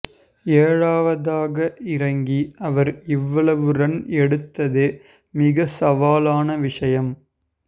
ஏழாவதாக இறங்கி அவர் இவ்வளவு ரன் எடுத்ததே மிக சவாலான விஷயம்